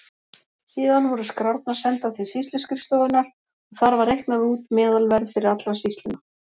Síðan voru skrárnar sendar til sýsluskrifstofunnar og þar var reiknað út meðalverð fyrir alla sýsluna.